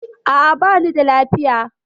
A'a, bani da lafiya.